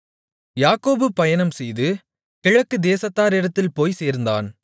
யாக்கோபு பயணம்செய்து கிழக்கு தேசத்தாரிடத்தில் போய்ச் சேர்ந்தான்